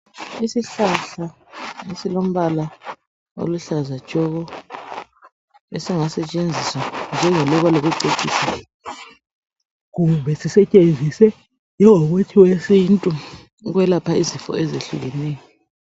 Isihlahla esilombala oluhlaza tshoko esingasetshenziswa njenge luba lokucecisa kumbe sisetshenziswe njengomuthi wesintu ukwelapha izifo ezihlukeneyo.